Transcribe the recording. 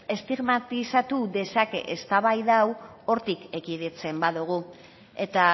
estigmatizatu dezake eztabaida hau hortik ekiditzen badogu eta